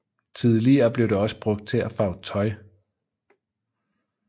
Tidligere blev det også brugt til at farve tøj